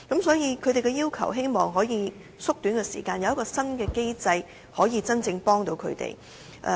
所以，他們希望能夠縮短過程，有新的機制能夠真正幫助他們。